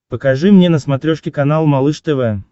покажи мне на смотрешке канал малыш тв